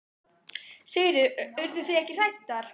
Sigríður: Urðu þið ekki hræddar?